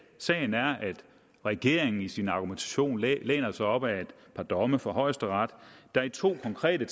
sagen er at regeringen i sin argumentation læner sig op ad et par domme fra højesteret der i to konkrete